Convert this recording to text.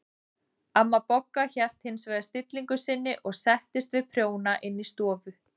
Amma Bogga hélt hins vegar stillingu sinni og settist við prjóna inn í stofu.